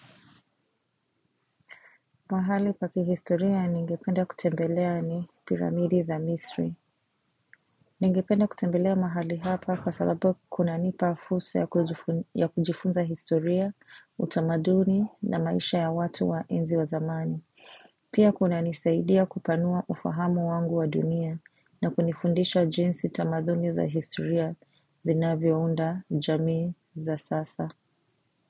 Mahali pa kihistoria ningependa kutembelea ni piramidi za misri. Ningependa kutembelea mahali hapa kwa sababu kunanipa fursa ya kujifunza historia, utamaduni na maisha ya watu wa enzi wa zamani. Pia kuna nisaidia kupanua ufahamu wangu wa dunia na kunifundisha jinsi tamaduni za historia zinavyo unda jamii za sasa.